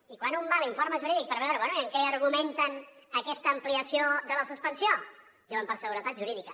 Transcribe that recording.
i quan un va a l’informe jurídic per veure amb què argumenten aquesta ampliació de la suspensió diuen per seguretat jurídica